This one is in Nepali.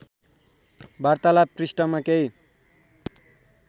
वार्तालाव पृष्ठमा केही